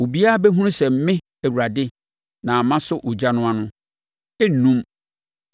Obiara bɛhunu sɛ me Awurade na masɔ ogya no ano; ɛrennum.’ ”